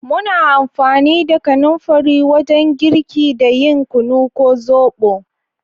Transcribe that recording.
Muna amfani da kanimfari wajen girki da yin kunu ko zoɓo.